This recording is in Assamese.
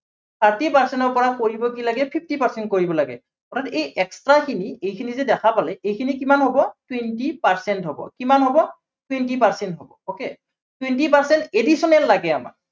thirty percent ৰ পৰা কৰিব কি লাগে fifty percent কৰিব লাগে। অৰ্থাত এই extra খিনি, এইখিনি যে দেখা পালে, এইখিনি কিমান হব, twenty percent হব, কিমান হব twenty percent হব okay, twenty percent additional লাগে আমাক।